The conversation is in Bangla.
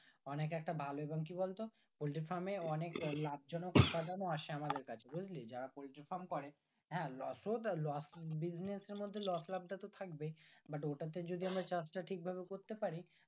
অনেকে একটা ভালো এবং কি বলতো পোল্ট্রি farm এ অনেক লাভ জনক উপাদান ও আসে আমাদের কাছে বুজলি যারা পোল্ট্রি farm করে হ্যাঁ লসও lossbusiness এর মধ্যে loss লাভ টা তো থাকবেই but ওটাতে যদি আমরা চাষটা ঠিক ভাবে করতে পারি